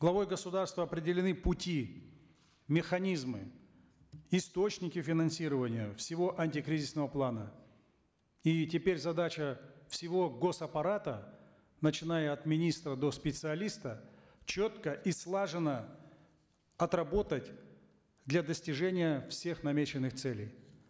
главой государства определены пути механизмы источники финансирования всего антикризисного плана и теперь задача всего гос аппарата начиная от министра до специалиста четко и слаженно отработать для достижения всех намеченных целей